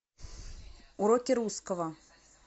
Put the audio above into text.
уроки русского